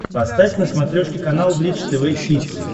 поставь на смотрешке канал бридж тв хитс